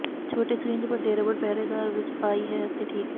ਛੋਟੇ ਸਰਿੰਜ ਵੱਡੇ ਰਬੜ ਪਹਿਰੇਦਾਰ ਵਿੱਚ ਪਾਈ ਹੈ ਅਤੇ ਠੀਕ ਹੈ